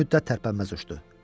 Bir müddət tərpənməz uçdu.